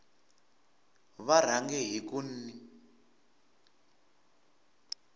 va rhange hi ku n